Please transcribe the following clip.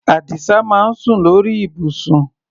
Àdìsá máa ń sùn lórí ibùsùn.